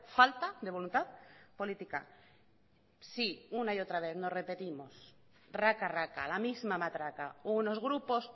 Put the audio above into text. falta de voluntad política sí una y otra vez nos repetimos raca raca la misma matraca unos grupos